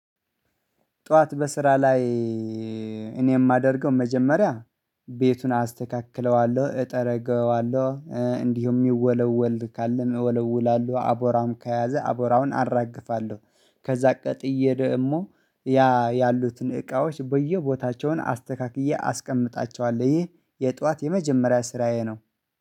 ጠዋት በስራ ላይ እኔ የማደርገው መጀመሪያ ቤቱን አስተካክለዋለሁ እጠረገዋለሁ እንዲሁም ይወለወል ካለም እወለውላለሁ አቧራም ከያዘ አቦራውን አራግፋለሁ። ከዛ ቀጥዬ ደግሞ ያ ያሉትን እቃዎች በየቦታቸውን አስተካክዬ አስቀምጣቸዋለሁ ይህ የጠዋት የመጀመሪያ ስራዬ ነው